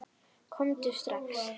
Komdu strax!